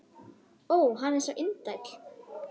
Ó, hann er svo indæll!